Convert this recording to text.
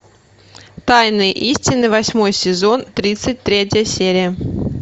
тайные истины восьмой сезон тридцать третья серия